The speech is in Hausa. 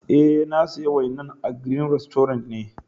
Eh, na siya wainan a green restaurant ne.